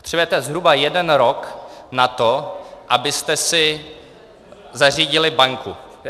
Potřebujete zhruba jeden rok na to, abyste si zařídili banku.